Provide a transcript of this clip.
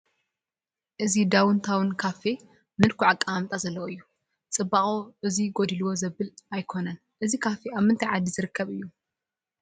እዚ ዳውን ታውን ካፌ ምልኩዕ ኣቀማምጣ ዘለዎ እዩ፡፡ ፅባቕኡ እዚ ጎዲልዎ ዘብል ኣይኮነን፡፡ እዚ ካፌ ኣብ ምንታይ ዓዲ ዝርከብ እዩ?